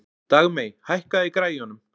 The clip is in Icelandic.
Dagmey, hækkaðu í græjunum.